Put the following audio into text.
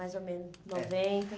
mais ou menos. É. Noventa